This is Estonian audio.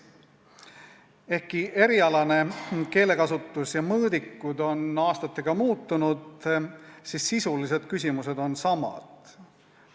Ehkki erialane keelekasutus ja mõõdikud on aastatega muutunud, on sisulised küsimused jäänud samaks.